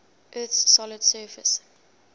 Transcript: earth's solid surface